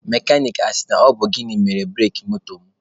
Mekanik a sị na ọ bụ gịnị mere bureki moto m?